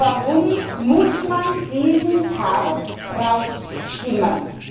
Oder warum muss man diesen Part hinausstimmen?